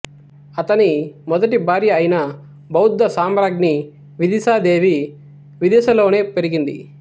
అతని మొదటి భార్య అయిన బౌద్ధ సామ్రాజ్ఞి విదిశా దేవి విదిశలోనే పెరిగింది